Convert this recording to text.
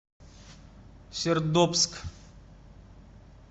сердобск